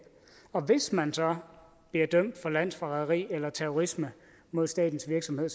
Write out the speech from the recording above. og hvis man så bliver dømt for landsforræderi eller terrorisme mod statens virksomhed